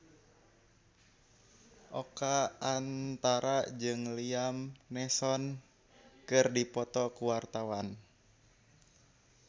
Oka Antara jeung Liam Neeson keur dipoto ku wartawan